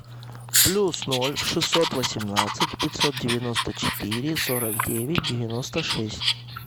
плюс ноль шестьсот восемнадцать пятьсот девяносто четыре сорок девять девяносто шесть